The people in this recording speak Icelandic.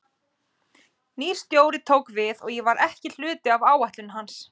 Nýr stjóri tók við og ég var ekki hluti af áætlunum hans.